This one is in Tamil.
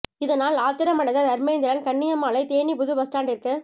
இதனால் ஆத்திரம் அடைந்த தர்மேந்திரன் கண்ணியம்மாளை தேனி புது பஸ் ஸ்டாண்டிற்கு